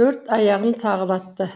төрт аяғын тағалатты